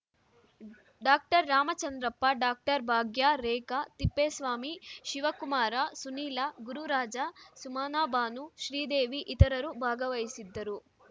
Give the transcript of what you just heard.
doctor Ramachandrappa doctor Bhagya Rekha Thippeswamy Shivakumara Sunila Gururaja Sumanabanu Sridevi ಇತರರು ಭಾಗವಹಿಸಿದ್ದರು